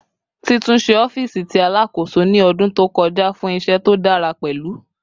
Titunṣe ọfiisi ti Alakoso ni ọdun to kọja fun iṣẹ to dara pẹlu